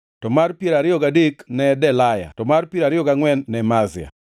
mar piero ariyo gadek ne Delaya to mar piero ariyo gangʼwen ne Mazia.